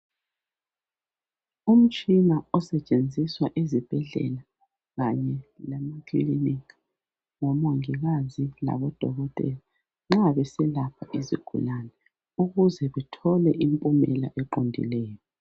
Umtshina osetshenziswa ezibhedlela kanye lemakilinika ngomongikazi labodokotela nxa beselapha izigulani ukuze bethole impumela eqondileyo.